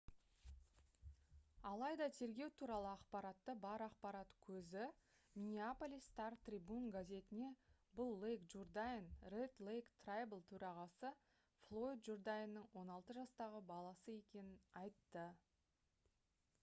алайда тергеу туралы ақпараты бар ақпарат көзі minneapolis star-tribune газетіне бұл лейк джурдайн red lake tribal төрағасы флойд журдайнның 16 жастағы баласы екенін айтты